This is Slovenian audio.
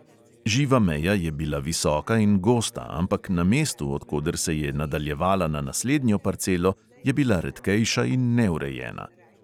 Živa meja je bila visoka in gosta, ampak na mestu, od koder se je nadaljevala na naslednjo parcelo, je bila redkejša in neurejena.